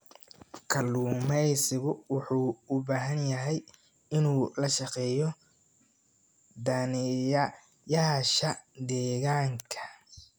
Kalluumeysigu wuxuu u baahan yahay inuu la shaqeeyo daneeyayaasha deegaanka.